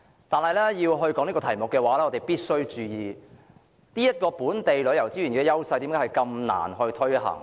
但是，要討論這項議題，我們必須注意為何本地旅遊資源的優勢如此難以發揮。